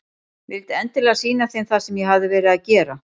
Vildi endilega sýna þeim það sem ég hafði verið að gera.